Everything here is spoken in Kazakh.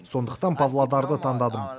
сондықтан павлодарды таңдадым